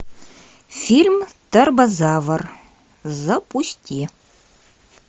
фильм торбозавр запусти